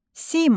Sima.